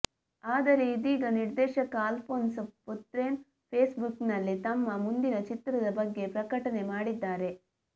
ಆದರೆ ಇದೀಗ ನಿರ್ದೇಶಕ ಅಲ್ಪೋನ್ಸ್ ಪುಥ್ರೆನ್ ಫೇಸ್ ಬುಕ್ ನಲ್ಲಿ ತಮ್ಮ ಮುಂದಿನ ಚಿತ್ರದ ಬಗ್ಗೆ ಪ್ರಕಟಣೆ ಮಾಡಿದ್ದಾರೆ